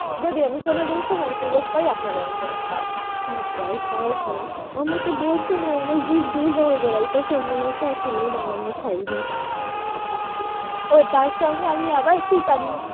যদি আমি কোনদিন সময় সুযোগ আপনারে আমি করে খাওয়াবো আচ্ছা আচ্ছা একদম আমাকে তো বলছেন আমার তো জিব দিয়ে জল গড়াইতেছে মনে হচ্ছে এখনই বানিয়া খেয়ে নিই ও তার সঙ্গে আমি আবার chicken